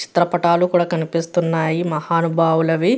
చిత్ర పాటాలు కూడా కనిపిస్తున్నాయి మహాను బావులవి.